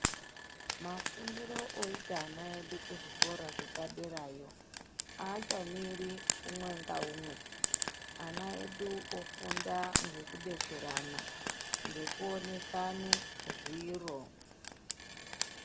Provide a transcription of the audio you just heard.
Mafundiro oita ana edu kuzvikora zvepaderayo. Haachamiri umwe ngaumwe ana edu ofunda ngekubetserana ngekuonesane zviro.